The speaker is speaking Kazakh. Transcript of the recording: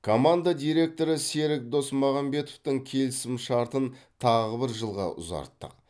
команда директоры серік досмағамбетовтің келісім шартын тағы бір жылға ұзарттық